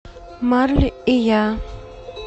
марли и я